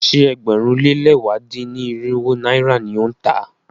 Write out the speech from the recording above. Ṣé ẹgbẹ̀rún lé lẹ̀wá dín-ní-irinwó náírà ni ó ń tà á?